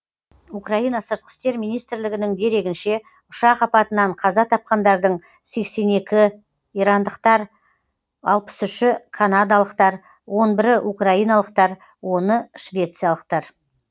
украина сыртқы істер министрлігінің дерегінше ұшақ апатынан қаза тапқандардың сексен екі ирандықтар алпыс үші канадалықтар он бірі украиналықтар оны швециялықтар